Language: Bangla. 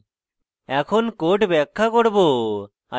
এখন code ব্যাখ্যা করব